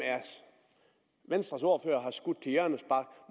venstres ordfører har skudt til hjørnespark